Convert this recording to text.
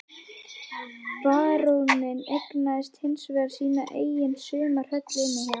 Baróninn eignaðist hinsvegar sína eigin sumarhöll inni á